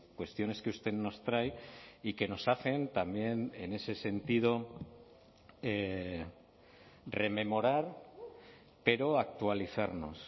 cuestiones que usted nos trae y que nos hacen también en ese sentido rememorar pero actualizarnos